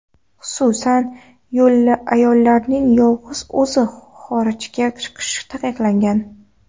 Xususan, ayollarning yolg‘iz o‘zi xorijga chiqishi taqiqlangan.